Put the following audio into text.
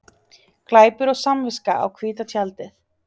Glæpur og samviska á hvíta tjaldið